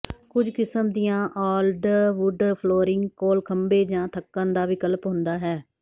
ਕੁੱਝ ਕਿਸਮ ਦੀਆਂ ਔਲਡਵੁੱਡ ਫਲੋਰਿੰਗ ਕੋਲ ਖੰਭੇ ਜਾਂ ਥੱਕਣ ਦਾ ਵਿਕਲਪ ਹੁੰਦਾ ਹੈ